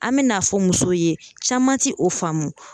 An bɛn'a fɔ musow ye caman ti o faamu